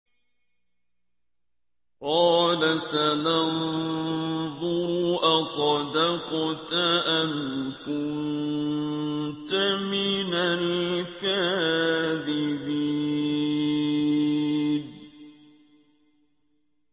۞ قَالَ سَنَنظُرُ أَصَدَقْتَ أَمْ كُنتَ مِنَ الْكَاذِبِينَ